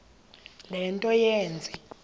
le nto yenze